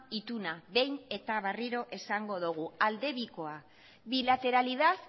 ituna behin eta berriro esango dugu aldebikoa bilateralidad